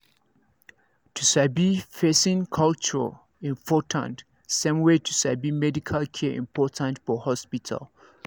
to sabi person culture important same way to sabi medical care important for hospital